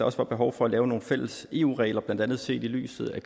også var behov for at lave nogle fælles eu regler blandt andet set i lyset af